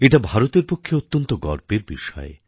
এটা ভারতের পক্ষে অত্যন্ত গর্বের বিষয়